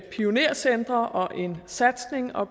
pionercentre og en satsning og